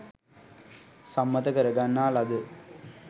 සම්මත කර ගන්නා ලද